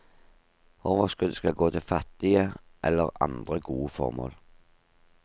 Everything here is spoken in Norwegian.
Overskudd skal gå til fattige eller andre gode formål.